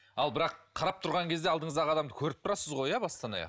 ал бірақ қарап тұрған кезде алдыңыздағы адамды көріп тұрасыз ғой иә бастан аяқ